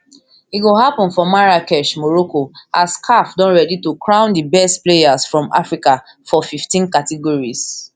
e go happun for marrakech morocco as caf don ready to crown di best players from africa for fifteen categories